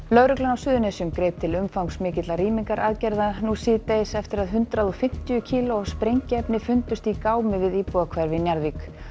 lögreglan á Suðurnesjum greip til umfangsmikilla nú síðdegis eftir að hundrað og fimmtíu kíló af sprengiefni fundust í gámi við íbúðahverfi í Njarðvík